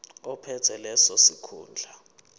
ophethe leso sikhundla